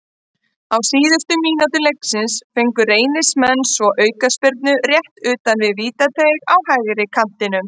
Á síðustu mínútu leiksins fengu Reynismenn svo aukaspyrnu rétt utan við vítateig á hægri kantinum.